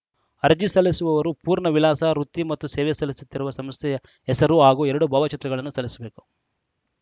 ಅರ್ಜಿ ಸಲ್ಲಿಸುವವರು ಪೂರ್ಣ ವಿಳಾಸ ವೃತ್ತಿ ಮತ್ತು ಸೇವೆ ಸಲ್ಲಿಸುತ್ತಿರುವ ಸಂಸ್ಥೆಯ ಹೆಸರು ಹಾಗೂ ಎರಡು ಭಾವಚಿತ್ರಗಳನ್ನು ಸಲ್ಲಿಸಬೇಕು